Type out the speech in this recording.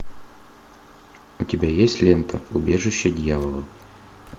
у тебя есть лента убежище дьявола